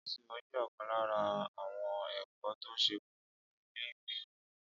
ìṣirò jẹ òkan lára àwon èkó tó ṣe kókó fún ilé ìwé ológun